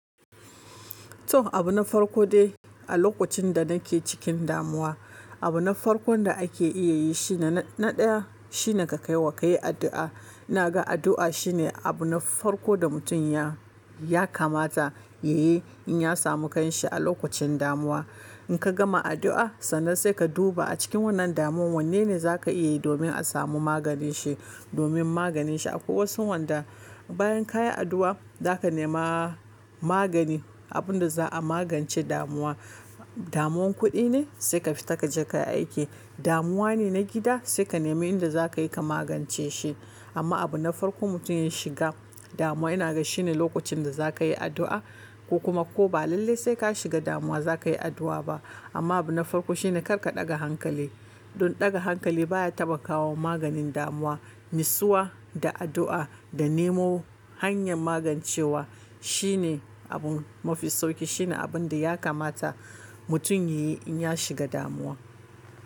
To abu na farko dai a lokacin da nake cikin damuwa, abu na farko da ake iya yi shi ne na ɗaya shine ka kai wa kai addu'a. Na ga addu'a shine abu na farko da mutum ya, ya kamata ya yi in ya samu kanshi a lokacin damuwa. In ka gama addu'a sannan sai ka duba a cikin wannan damuwan wanne ne za ka iya yi domin a samu maganin shi, domin maganin shi. Akwai wasu wanda bayan kayi addu'a za ka nema magani, abinda za a magance damuwa. Damuwan kuɗi ne sai ka fita ka je ka yi aiki, damuwa ne na gida sai ka nema inda za ka yi ka magance shi. Amma abu na farko mutum ya shiga damuwa ina ga shine lokacin da za ka yi addu'a ko kuma ko ba lalle sai ka shiga damuwa za ka yi addu'a ba. Amma abu na farko shine kar ka ɗaga hankali. Don ɗaga hankali baya taɓa kawo maganin damuwa, nisowa da addu'a da nemo hanyar magancewa shine abun mafi sauƙi. Shine abinda ya kamata mutum ya yi in ya shiga damuwa.